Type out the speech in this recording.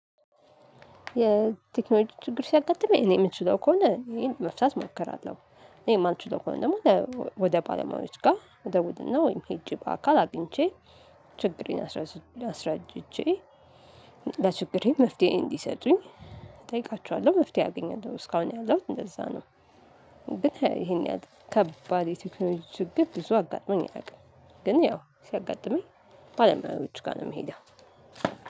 የቴክኖሎጂ ችግር ሲያጋጥመኝ እኔ የምችለው ከሆነ ይሄን መፍታት እሞክራለሁ እኔ የማልችለው ከሆነ ደግሞ ወደ ባለሙያዎች ጋር ወደ እደውል እና ወይም ሄጄ በአካል አግኝቼ ችግሬን አስረጅቼ ለችግሬ መፍትሄ እንዲሰጡኝ እጠይቃቸዋለሁ መፍትሄ አገኛለው እስካሁን ያለውን እንደዛ ነው። ግን ይሄን ያህል ከባድ የቴክኖሎጂ ግብ ብዙ አጋጥመኝ አያውቅም። ግን ያው ሲያጋጥመኝ ባለሙያዎቹ ጋር ነው የምሄደው።